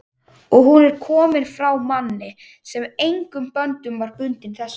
og hún er komin frá manni, sem engum böndum var bundinn þessum